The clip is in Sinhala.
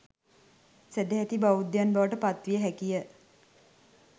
සැදැහැති බෞද්ධයන් බවට පත්විය හැකිය.